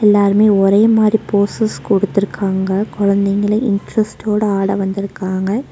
எல்லாருமே ஒரே மாரி போசஸ் குடுத்துருக்காங்க கொழந்தைகளே இன்ட்ரஸ்ட்டோட ஆட வந்திருக்காங்க.